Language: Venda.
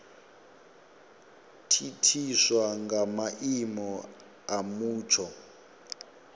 thithiswa nga maimo a mutsho